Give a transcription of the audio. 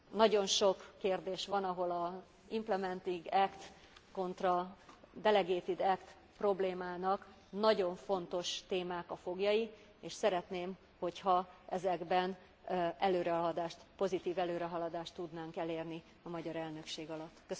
Nagyon sok kérdés van, ahol az implementing act kontra delegated act problémának nagyon fontos témák a foglyai, és szeretném, hogyha ezekben pozitív előrehaladást tudnánk elérni a magyar elnökség alatt.